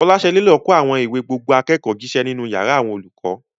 Folashade lọ kó àwọn ìwé gbogbo akẹ́kọ̀ọ́ jíṣẹ́ nínú yàrá àwọn olùkọ́.